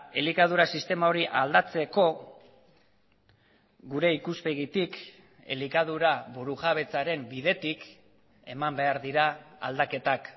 elikadura sistema hori aldatzeko gure ikuspegitik elikadura burujabetzaren bidetik eman behar dira aldaketak